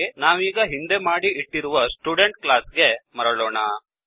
ಸರಿ ನಾವೀಗ ಹಿಂದೆ ಮಾಡಿ ಇಟ್ಟಿರುವ ಸ್ಟುಡೆಂಟ್ ಕ್ಲಾಸ್ ಗೆ ಮರಳೋಣ